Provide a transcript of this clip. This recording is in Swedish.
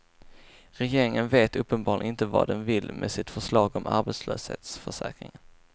Regeringen vet uppenbarligen inte vad den vill med sitt förslag om arbetslöshetsförsäkringen.